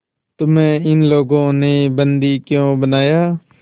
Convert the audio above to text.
तुम्हें इन लोगों ने बंदी क्यों बनाया